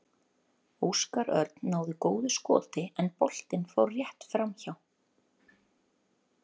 Óskar Örn náði góðu skoti en boltinn fór rétt framhjá.